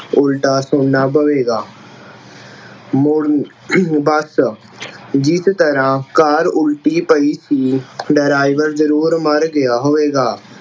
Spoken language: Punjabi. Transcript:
ਉਲਟਾ ਸੁਣਨਾ ਪਵੇਗਾ ਜਿਸ ਤਰ੍ਹਾਂ Car ਉਲ਼ਟੀ ਪਈ ਸੀ driver ਜ਼ਰੂਰ ਮਰ ਗਿਆ ਹੋਵੇਗਾ।